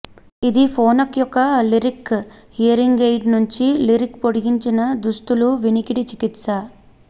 ఇది ఫోనక్ యొక్క Lyric hearing aid నుండి లిరిక్ పొడిగించిన దుస్తులు వినికిడి చికిత్స